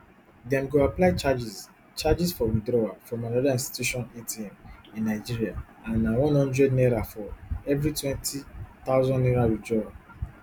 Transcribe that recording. dem go apply charges charges for withdrawal from anoda institution atm in nigeria and na one hundred naira for evri twenty thousand naira withdrawal